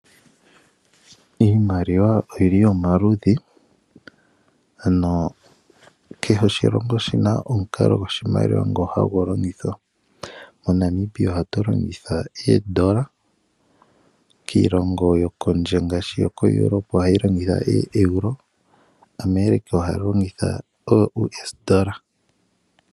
Iimaliwa oyili omaludhi ano kehe oshilongo oshina omukalo gwoshimaliwa ngono hagu longithwa. MoNamibia ohatu longitha oondola, iilongo yokondje ngaashi Europe oha longitha oeuro omanga America oUS dolla.